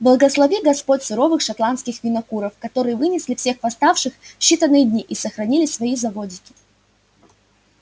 благослови господь суровых шотландских винокуров которые вынесли всех восставших в считанные дни и сохранили свои заводики